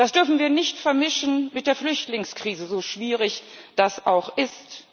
Das dürfen wir nicht vermischen mit der Flüchtlingskrise, so schwierig das auch ist.